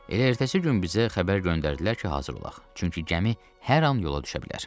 Elə ertəsi gün bizə xəbər göndərdilər ki, hazır olaq, çünki gəmi hər an yola düşə bilər.